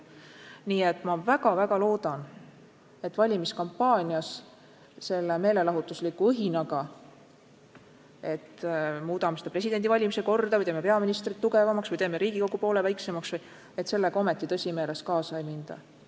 Nii et ma väga-väga loodan, et valimiskampaanias selle meelelahutusliku õhinaga, et muudame presidendi valimise korda või teeme peaministri tugevamaks või teeme Riigikogu poole väiksemaks, ometi tõsimeeles kaasa ei minda.